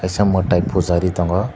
kisa mwtai puja ree tongo.